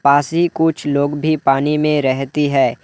कुछ लोग भी पानी में रहती है।